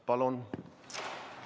Palun!